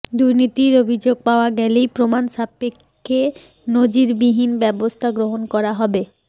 দুর্নীতির অভিযোগ পাওয়া গেলেই প্রমাণ সাপেক্ষে নজিরবিহীন ব্যবস্থা গ্রহণ করা হবে